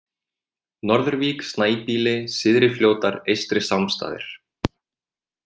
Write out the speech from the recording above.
Norður-Vík, Snæbýli, Syðri-Fljótar, Eystri-Sámsstaðir